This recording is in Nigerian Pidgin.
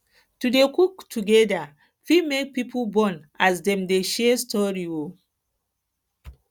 to dey cook together fit make pipo bond as dem dey share stories um